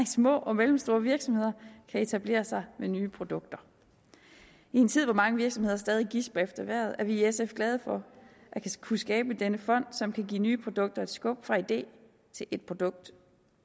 små og mellemstore virksomheder kan etablere sig med nye produkter i en tid hvor mange virksomheder stadig gisper efter vejret er vi i sf glade for at kunne skabe denne fond som kan give nye produkter et skub fra idé til et produkt